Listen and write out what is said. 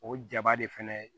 O jaba de fɛnɛ